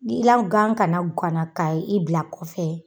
N'i la gan kana ganna ka i bila kɔfɛ